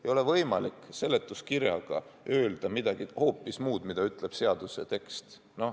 Ei ole võimalik seletuskirjaga öelda midagi hoopis muud kui see, mida ütleb seaduse tekst.